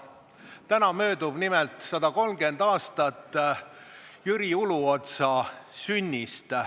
Nimelt möödub täna 130 aastat Jüri Uluotsa sünnist.